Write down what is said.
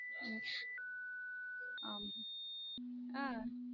உம் ஆமா ஹம்